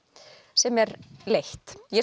sem er leitt ég